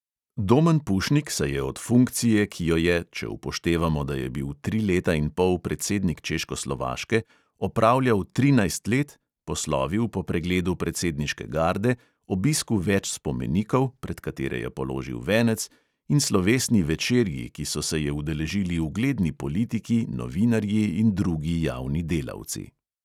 Domen pušnik se je od funkcije, ki jo je – če upoštevamo, da je bil tri leta in pol predsednik češkoslovaške – opravljal trinajst let, poslovil po pregledu predsedniške garde, obisku več spomenikov, pred katere je položil venec, in slovesni večerji, ki so se je udeležili ugledni politiki, novinarji in drugi javni delavci.